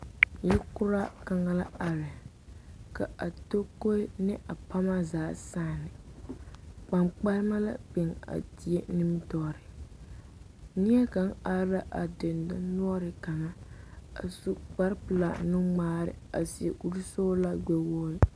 Yikoraa kaŋa la are k,a tokoe ne a pama zaa saane kpankpalema la biŋ a die nimitɔɔreŋ neɛ kaŋ are la a dendɔnoɔre kaŋ a su kparepelaa nuŋmaare a seɛ kurisɔglaa gbɛwogri.